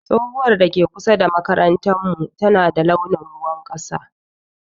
Tsohuwar da ke kusa da makarantar mu tana da launin ruwan kasa.